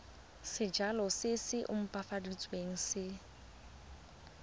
sejalo se se opafaditsweng se